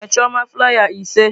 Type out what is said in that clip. Nye chioma flaiya ise.